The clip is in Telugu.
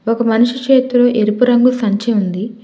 ఒక మనిషి చేతిలో ఎరుపు రంగు సంచి ఉంది.